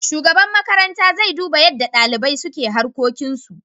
Shugaban makaranta zai duba yadda dalibai suka harkokin su.